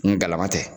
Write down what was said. Ngulama tɛ